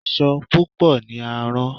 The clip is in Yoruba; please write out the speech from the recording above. Asọ Pupa ni a rán.